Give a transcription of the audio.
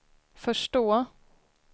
förstå